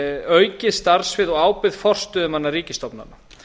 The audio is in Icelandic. aukið starfssvið og ábyrgð forstöðumanna ríkisstofnana